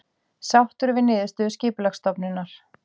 Sáttur við niðurstöðu Skipulagsstofnunar